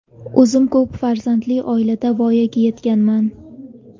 O‘zim ko‘p farzandli oilada voyaga yetganman.